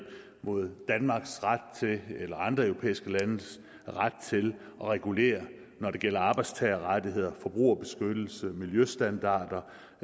mod danmarks ret eller andre europæiske landes ret til at regulere når det gælder arbejdstagerrettigheder forbrugerbeskyttelse miljøstandarder